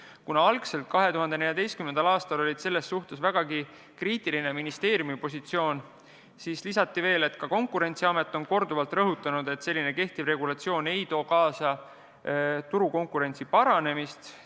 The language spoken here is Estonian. Kuna 2014. aastal oli ministeerium vägagi kriitiline, siis lisati veel, et ka Konkurentsiamet on korduvalt rõhutanud, et selline regulatsioon ei too kaasa turukonkurentsi paranemist.